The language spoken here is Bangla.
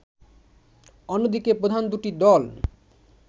অন্যদিকে প্রধান দুটি দল